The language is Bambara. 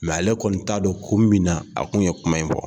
ale kɔni t'a dɔn kun min na a tun ye kuma in fɔ